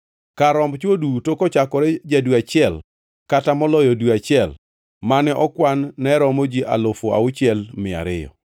Kar romb chwo duto kochakore ja-dwe achiel kata moloyo dwe achiel mane okwan ne romo ji alufu auchiel mia ariyo (6,200).